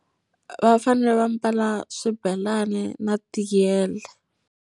Va fanele va mbala swibelani na tiyele.